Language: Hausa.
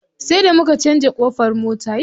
Sai da muka canza ƙofar mota.